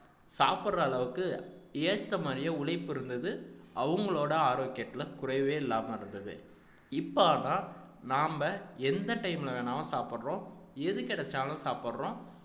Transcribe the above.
சாப்பிடற அளவுக்கு ஏத்த மாதிரியே உழைப்பு இருந்தது அவங்களோட ஆரோக்கியத்துல குறைவே இல்லாம இருந்தது இப்ப நாம எந்த time ல வேணாலும் சாப்பிடறோம் எது கிடைச்சாலும் சாப்பிடறோம்